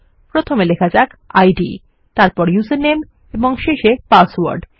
প্রথমে লেখা যাক ইদ তারপর উসের নামে এবং শেষে পাসওয়ার্ড